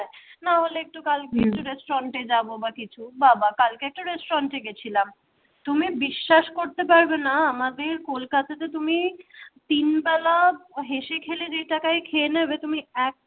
না হলে একটু হম কালকে restaurant যাব বা কিছু বা বা কালকে restaurant গেছিলাম। তুমি বিশ্বাস করতে পারবে না আমাদের কলকাতাতে তুমি তিন বেলায় হেসে খেলে যে টাকায় খেয়ে নেবে তুমি এক